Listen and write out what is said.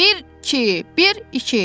Bir, iki, bir, iki.